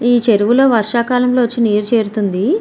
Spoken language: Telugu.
ఈ చెరువులో వర్షాకాలంలో వచ్చి నీరు చేరుతుంది.